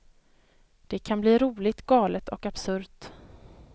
Det kan bli roligt, galet och absurt.